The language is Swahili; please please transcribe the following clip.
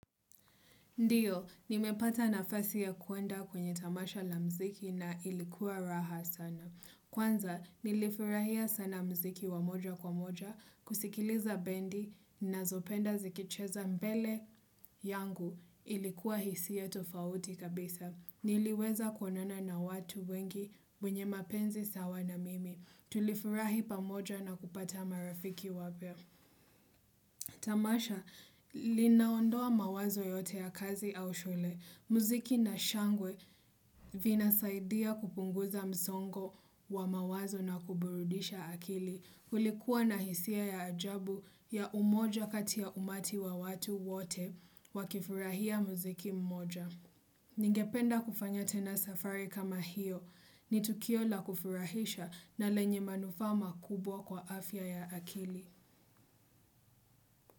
Ndiyo, nimepata nafasi ya kuenda kwenye tamasha la mziki na ilikuwa raha sana. Kwanza, nilifurahia sana mziki wamoja kwa moja, kusikiliza bendi ninazopenda zikicheza mbele yangu ilikuwa hisia ya tofauti kabisa. Niliweza kuonana na watu wengi wenye mapenzi sawa na mimi. Tulifurahi pamoja na kupata marafiki wapya. Tamasha, linaondoa mawazo yote ya kazi au shule. Muziki na shangwe vina saidia kupunguza msongo wa mawazo na kuburudisha akili. Kulikuwa na hisia ya ajabu ya umoja kati ya umati wa watu wote wakifurahia muziki mmoja. Ningependa kufanya tena safari kama hiyo ni tukio la kufurahisha na lenye manufaa kubwa kwa afya ya akili.